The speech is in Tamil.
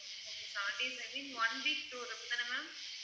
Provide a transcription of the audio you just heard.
okay seven days I mean one week tour அப்படி தான ma'am